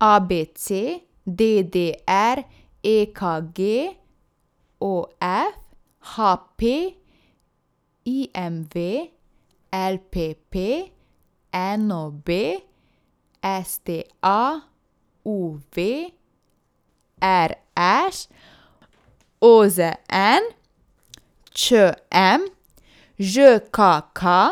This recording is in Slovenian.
A B C; D D R; E K G; O F; H P; I M V; L P P; N O B; S T A; U V; R Š; O Z N; Č M; Ž K K;